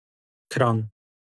Kranj.